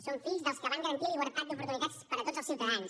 som fills dels que van garantir la igualtat d’oportunitats per a tots els ciutadans